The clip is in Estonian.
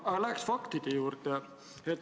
Aga läheks faktide juurde.